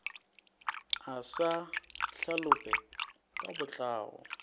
a sa hlalope ka botlao